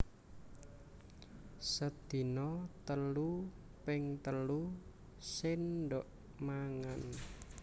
Sedina telu ping telu séndhok mangan